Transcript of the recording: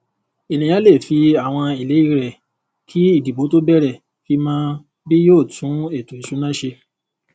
ènìyàn lè fi àwọn ìlérí rẹ kì ìdìbò tó béèrè fi mọ bí yóò tún ètò ìsúná ṣe